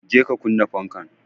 je ka kunna fanka